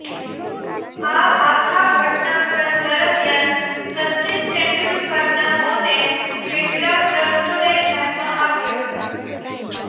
આ આખા ઘટનાક્રમ દરમિયાન સચિન તેંડુલકરના મૌને કેટલાક પ્રશ્નોને જન્મ આપ્યો